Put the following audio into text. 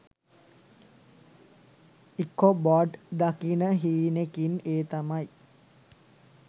Ichabod දකින හීනෙකින් ඒ තමයි